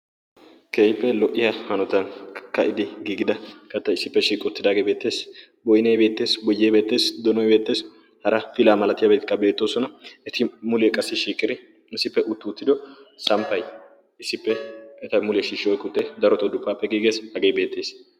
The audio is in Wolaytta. keippe lo''iya hanotan ka'idi giigida katta issippe shiiqi uttidaagee beettees boynay beetteesi boyee beettees donoy beetteesi hara pilaa malatiyaabakka beettoosona eti muliee qassi shiikiri issippe uttu uttido samppay issippe eta mulee shiishshoy kuttee daroti appe giigees hagee beettees